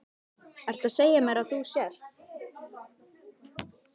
Ertu að segja mér að þú sért.